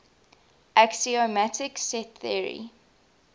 axiomatic set theory